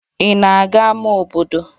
Ị na-aga ámá obodo?